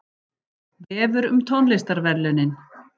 Vefur um tónlistarverðlaunin